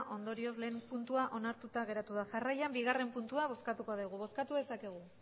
ondorioz batgarrena puntua onartuta geratu da jarraian bigarrena puntua bozkatuko dugu bozkatu dezakegu